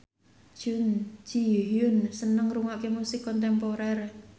Jun Ji Hyun seneng ngrungokne musik kontemporer